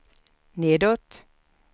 nedåt